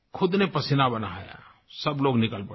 ख़ुद का पसीना बहाया सब लोग निकल पड़े